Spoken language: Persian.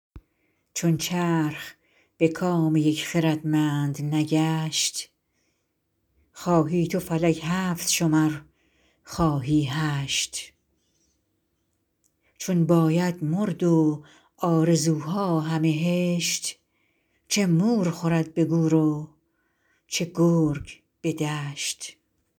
چون چرخ به کام یک خردمند نگشت خواهی تو فلک هفت شمر خواهی هشت چون باید مرد و آرزوها همه هشت چه مور خورد به گور و چه گرگ به دشت